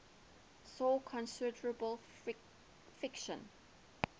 saw considerable friction